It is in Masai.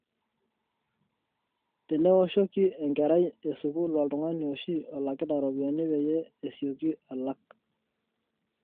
tenewoshoki enkerai esukuul oltungani oshi olakita ropiyani peyie esioki alak